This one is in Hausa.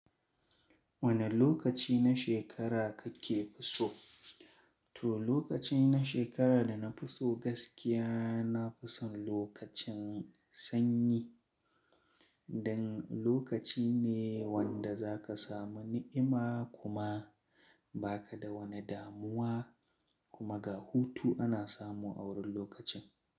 Wane lokaci na shekara kakefi so? To lokaci na shekara da na fi so gaskiya, na fi son lokacin sanyi. Dan lokaci ne wanda zaka samu ni'ima kuma ba ka da wani damuwa kuma ga hutu ana samu a wurin lokacin.